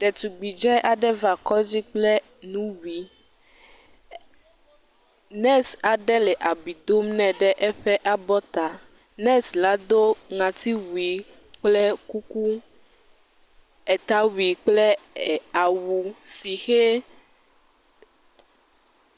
Detugbi dzɛɛ aɖe va kɔdzi kple nuwui nɛsi aɖe le abui dom nɛ ɖe eƒe abɔta. Nɛsila do ŋatiwui kple kuku, etawui kple awu si hee.